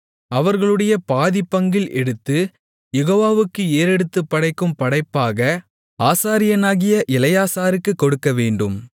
அவர்களுடைய பாதிப்பங்கில் எடுத்து யெகோவாவுக்கு ஏறெடுத்துப்படைக்கும் படைப்பாக ஆசாரியனாகிய எலெயாசாருக்கு கொடுக்கவேண்டும்